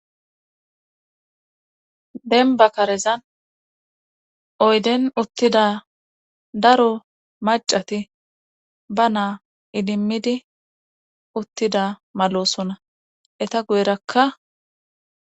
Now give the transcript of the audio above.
denba karezan oyden uttida daro macati ba naa idimmidi uttida malosona eta guyerakka